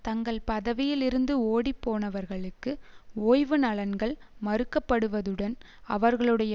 தங்கள் பதவியில் இருந்து ஓடிப்போனவர்களுக்கு ஓய்வு நலன்கள் மறுக்கப்படுவதுடன் அவர்களுடைய